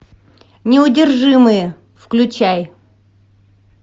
неудержимые включай